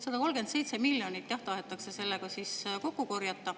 137 miljonit, jah, tahetakse sellega kokku korjata.